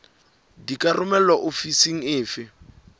di ka romelwa ofising efe